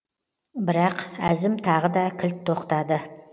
бірақ әзім тағы да кілт тоқтады